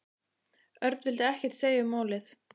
Örn vildi ekkert segja um málið.